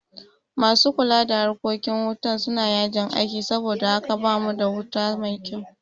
Masu kula da harkokin hutan suna yajin aiki saboda haka bamu da wuta mai kyau